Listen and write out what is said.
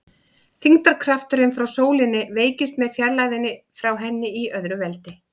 Þyngdarkrafturinn frá sólinni veikist með fjarlægðinni frá henni í öðru veldi.